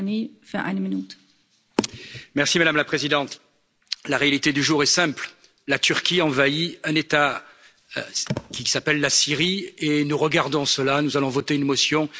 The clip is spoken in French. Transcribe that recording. Madame la Présidente, la réalité du jour est simple la Turquie envahit un État qui s'appelle la Syrie et nous regardons cela, nous allons voter une motion et vous savez très bien que nous ne ferons rien.